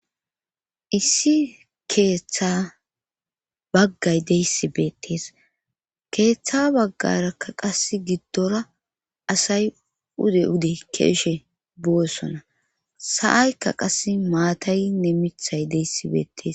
issi keeththa baggay deyssi beettees keeththa baggarakka qas giddora asay ude ude ke'eshe boossona sa'aykka qas maatayinne mithay deyssi beettes